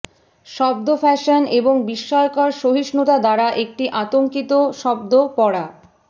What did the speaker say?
শব্দ ফ্যাশন এবং বিস্ময়কর সহিষ্ণুতা দ্বারা একটি আতঙ্কিত শব্দ পড়া